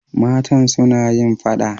Matan suna yin fada.